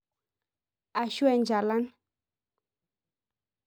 Ashu enchalan